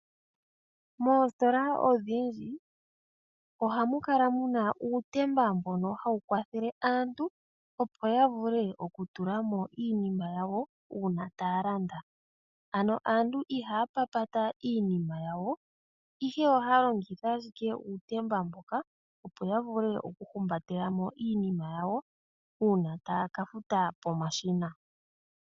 Moositola odhindji ohamu kala muna uutemba mbono hawu kwathele aantu, opo ya vule oku tula mo iinima yawo uuna taya landa, ano aantu ihaya papata iinima yawo ihe ohaya longitha ashike uutemba mboka, opo ya vule oku humbatela mo iinima yawo uuna taya ka futa pomashina.